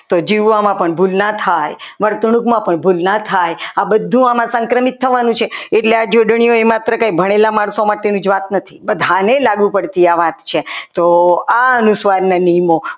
તો જીવવામાં પણ ભૂલ ના થાય વર્તુળમાં પણ ભૂલ ના થાય આ બધું આમાં સંક્રમિત થવાનું છે એટલે આ જોડણીઓ માત્ર કંઈ ભણેલા માણસો માટેની જ વાત નથી બધાને જ લાગુ પડતી આ વાત છે. તો આ અનુસ્વારના નિયમો